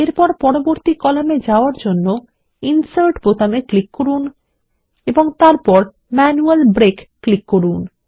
এরপর পরবর্তী কলামে যাওয়ার জন্য ইনসার্ট বোতামে ক্লিক করুন এবং তারপর ম্যানুয়াল ব্রেক ক্লিক করুন